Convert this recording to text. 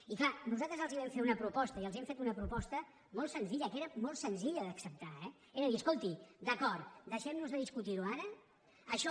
i és clar nosaltres els vam fer una proposta i els hem fet una proposta molt senzilla que era molt senzilla d’acceptar eh era dir escolti d’acord deixem nos de discutir ho ara això